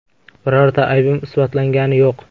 Birorta aybim isbotlangani yo‘q.